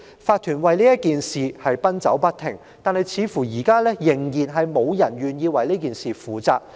法團為此事奔走不停，但至今似乎仍然無人願意為此事負責。